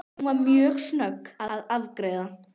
Hún var mjög snögg að afgreiða.